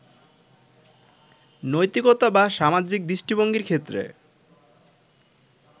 নৈতিকতা বা সামাজিক দৃষ্টিভঙ্গির ক্ষেত্রে